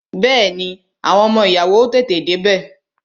Bẹẹni, àwọn ọmọ ìyàwó ó tètè dé bẹ